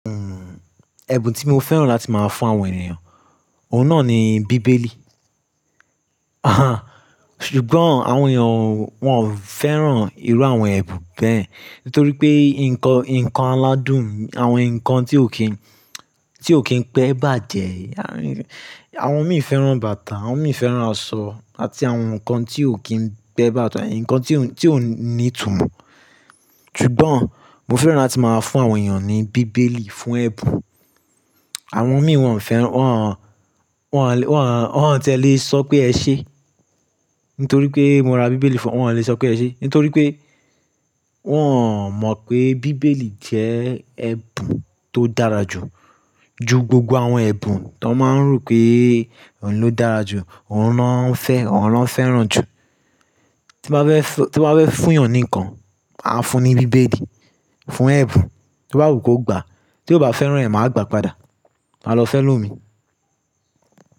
Hmm, ẹ̀bùn tí mo fẹ́ràn láti máa fún àwọn ènìyàn, òun náà ni bíbélì. Aha, ṣùgbọ́n àwọn ènìyàn wọn ò fẹ́ràn irú àwọn ẹ̀bùn bẹ́ẹ̀, nítorí pé nǹkan, nǹkan aládùn, àwọn nǹkan tí ò kíì, tí ò kíì pẹ́ bàjẹ́. Àwọn mìí fẹ́ràn bàtà, àwọn mìi fẹ́ràn aṣọ àti àwọn nǹkan tí ò kíì n pẹ́ bàjẹ́, nǹkan tí ó ti o ní ìtumọ̀. Ṣùgbọ́n mo fẹ́ràn láti máa fún àwọn ènìyàn ní bíbélì fún ẹ̀bùn. Àwọn mìíràn wọn ò fẹ́ràn, Wọn wọn wọn ò, wọn ò ti ẹ́le sọ pé ẹ ṣé, nítorí pé mo ra bíbélì fún wọn, wọ́n ò le sọ pé ẹ ṣé. Nítorí pé wọ́n mọ̀ pé bíbélì jẹ́ ẹ̀bùn tó dára jù, ju gbogbo àwọn ẹ̀bùn tó máa ń rò pé òun ló dára jù, òun ló fẹ́ràn jù. Tí n bá fẹ́ fún yàn nǹkan, màá fún un ní bíbélì fún ẹ̀bùn. Tí bàá rò pé ó gbà, tí ò bá fẹ́ràn rẹ̀, màá gbà padà, màá lọ fẹ́ lómi.